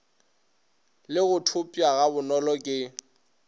le go thopša gabonolo ke